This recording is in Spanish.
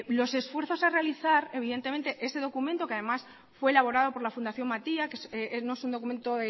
los esfuerzos a realizar ese documento que además fue elaborado por la fundación matia que no es un documento